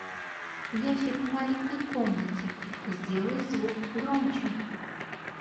ящик в маленькой комнате сделай звук громче